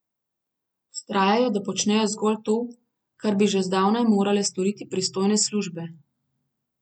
Vztrajajo, da počnejo zgolj to, kar bi že zdavnaj morale storiti pristojne službe.